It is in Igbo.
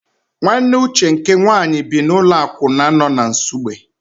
Nwanne Uche nke nwaanyị bi n'ụlọ akwụna nọ na Nsugbe.